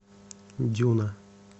дюна